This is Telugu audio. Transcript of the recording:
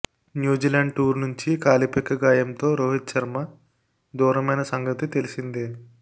న్యూజిలాండ్ టూర్ నుంచి కాలిపిక్క గాయంతో రోహిత్ శర్మ దూరమైన సంగతి తెలిసిందే